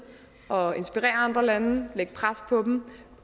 og inspirere andre lande lægge pres på dem